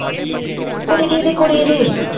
ਕੁੜੀ ਦੀ ਕੁੜੀ ਦੀ।